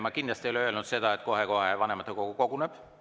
Ma kindlasti ei ole öelnud, et kohe-kohe vanematekogu koguneb.